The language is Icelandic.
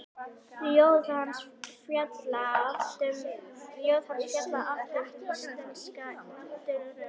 Ljóð hans fjalla oft um íslenska náttúru.